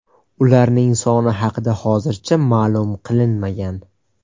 Ularning soni haqida hozircha ma’lum qilinmagan.